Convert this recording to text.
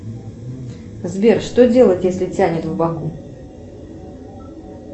сбер что делать если тянет в боку